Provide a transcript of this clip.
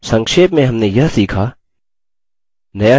संक्षेप में हमने यह सीखा :